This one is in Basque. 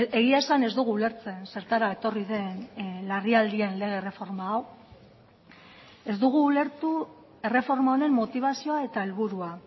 egia esan ez dugu ulertzen zertara etorri den larrialdien lege erreforma hau ez dugu ulertu erreforma honen motibazioa eta helburua